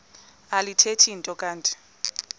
alithethi nto kanti